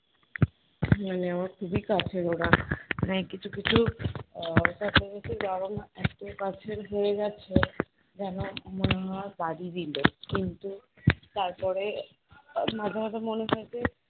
মানে আমার খুবই কাছের ওরা। মানে কিছু কিছু আহ ব্যাপার আছে একদমই কাছের হয়ে গেছে যেন আমার মনে হয় বাড়িরই লোক। কিন্তু তারপরে আহ মাঝে মাঝে মনে হয় যে